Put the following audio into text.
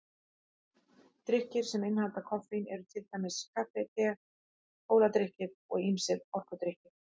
Drykkir sem innihalda koffein eru til dæmis kaffi, te, kóladrykkir og ýmsir orkudrykkir.